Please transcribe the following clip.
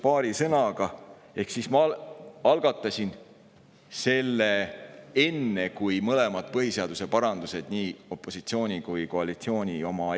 Ma algatasin selle 24. oktoobril eelmisel aastal, enne seda, kui esitati mõlemad põhiseaduse parandused, nii opositsiooni kui ka koalitsiooni oma.